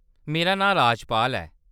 मेरा नांऽ राजपाल ऐ।